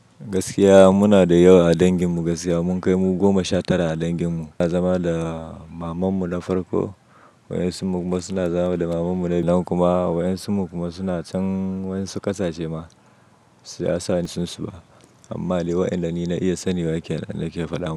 Gaskiya muna da yawa a dangin mu, gaskiya mun kai mu goma sha tara a dangin mu. Wasu na zama da maman mu na farko, wasu kuma suna zama da maman mu na biyu. Nan kuma wasu kuma suna can wani ƙasashe ma, su ya sani su ba. Amma Ali waɗanda ni na iya sanin waƙe na ke faɗawa.